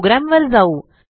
program वर जाऊ